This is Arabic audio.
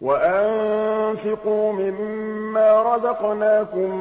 وَأَنفِقُوا مِن مَّا رَزَقْنَاكُم